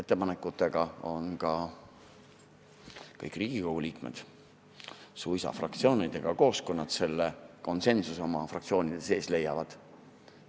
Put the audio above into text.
Teretulnud on ka kõikide Riigikogu liikmete ettepanekud, suisa fraktsioonidega koos, kui nad oma fraktsioonis konsensuse leiavad.